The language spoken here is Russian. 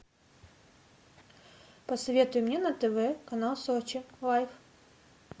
посоветуй мне на тв канал сочи лайф